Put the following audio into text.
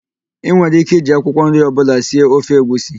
Ị nwere íké iji akwụkwọ nri ọbụla sie ofe egwusi.